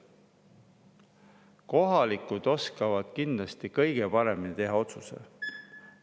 Kohalikud oskavad kindlasti kõige paremini teha otsuse.